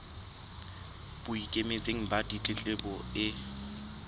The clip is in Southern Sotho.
bo ikemetseng ba ditletlebo e